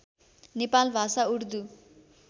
नेपाल भाषा उर्दू